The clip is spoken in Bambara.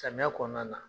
Samiya kɔnɔna na